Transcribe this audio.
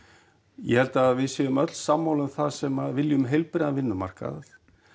ég held við séum öll sammála um það sem viljum heilbrigðan vinnumarkað